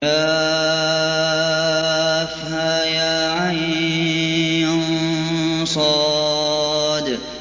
كهيعص